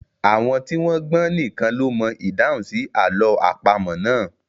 Àwọn tí wọ́n gbọ́n nìkan ló mọ ìdáhùn sí àlọ́ àpamọ̀ náà.